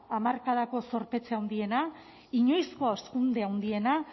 hamarkadako zorpetze handiena inoizko hazkunde handiena